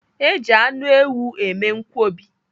Eji anụ ewu eme nkwobi.